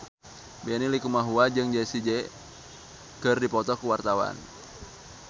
Benny Likumahua jeung Jessie J keur dipoto ku wartawan